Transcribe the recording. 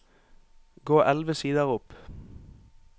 Gå elleve sider opp